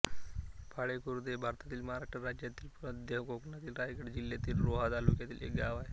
पाळे खुर्द हे भारतातील महाराष्ट्र राज्यातील मध्य कोकणातील रायगड जिल्ह्यातील रोहा तालुक्यातील एक गाव आहे